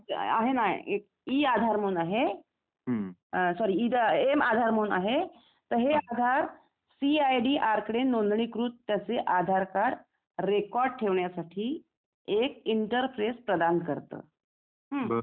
आहे ना एक ई-आधार म्हणून आहे सॉरी एम-आधार म्हणून आहे तर हे आधार सी आय डी आरकडे नोंदूनकृत तसे आधार कार्ड रेकॉर्ड ठेवण्यासाठी एक इंटरफेस प्रदान करता. हं